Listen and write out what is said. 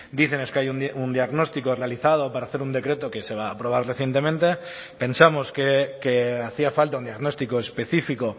dicen es que hay un diagnóstico realizado para hacer un decreto que se va a aprobar recientemente pensamos que hacía falta un diagnóstico específico